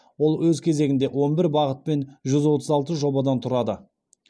ол өз кезегінде он бір бағыт пен жүз отыз алты жобадан тұрады